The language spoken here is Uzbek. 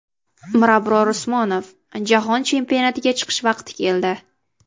Mirabror Usmonov: Jahon chempionatiga chiqish vaqti keldi .